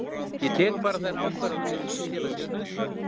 Ég tek bara þær ákvarðanir sem ég tel að séu nauðsyn